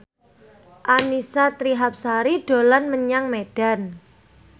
Annisa Trihapsari dolan menyang Medan